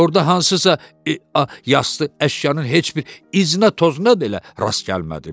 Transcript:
Orda hansısa eee yastı əşyanın heç bir iznə toznadı elə rast gəlmədim.